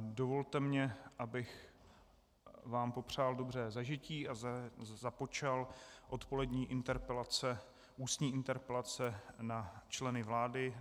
dovolte mi, abych vám popřál dobré zažití a započal odpolední interpelace - ústní interpelace na členy vlády.